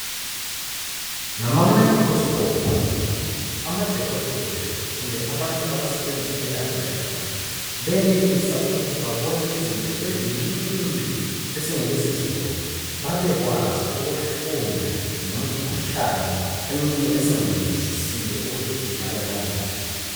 Ngama mayikhilosikophu amadokotela kumbe abantu abasebenza elaboratory benelisa ukuthi babone izinto ezincuncuncu esingeke sizibone babekwazi ukufunda ngemikhuhlane eminye esingayizwisisiyo ukuthi idalwa kanjani.